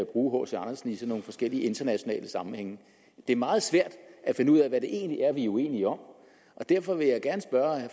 bruge hc andersen i sådan nogle forskellige internationale sammenhænge det er meget svært at finde ud af hvad det egentlig er vi er uenige om og derfor vil jeg